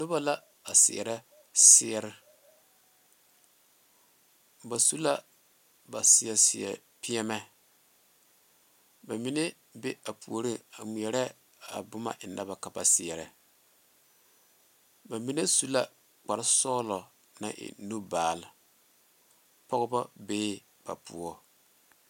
Nobo la a seɛrɛ seɛrɛ ba su la ba seɛ seɛ piɛmɛ ba mine be a puori a ŋmeɛrɛ a boma a eŋe ba ka ba seɛrɛ ba mine su la kpare sɔglɔ naŋ e nu baale pɔgeba bee ba poɔ.